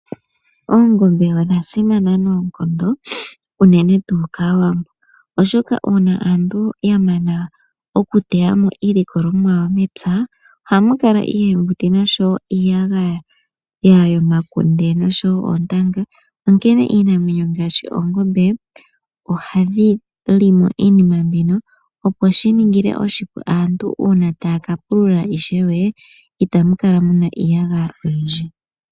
Oongombe odhasimana noonkondo uunene tu kaawambo oshoka uuna aantu yamana okuteyamo iilikolomwa yawo mepya, ohamu kala iihenguti nosho wo iiyagaya yomakunde osho wo oontanga onkene iinamwenyo ngaashi oongombe ohadhi li mo iinima mbino opo shiningile oshipu uuna aantu taya kapulula ishewe, itamu kala muna iiyagaya oyindji.